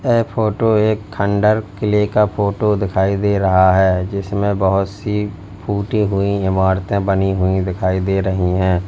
ऐ photo एक खंडहर किले का फोटो दिखाई दे रहा है जिसमें बोहोत सी फूटी हुई इमारतें बनी हुई दिखाई दे रही हैं।